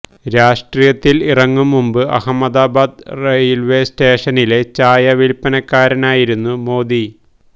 രാഷ്ട്രീയത്തില് ഇറങ്ങും മുമ്പ് അഹമ്മദാബാദ് റയില്വെ സ്റ്റേഷനിലെ ചായ വില്പനക്കാരനായിരുന്നു മോഡി